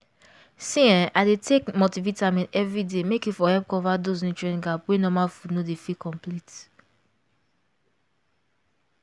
see[um]i dey take multivitamin every day make e for help cover those nutrient gap wey normal food no dey fit complete